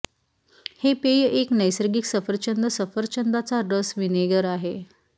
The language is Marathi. हे पेय एक नैसर्गिक सफरचंद सफरचंदाचा रस व्हिनेगर आहे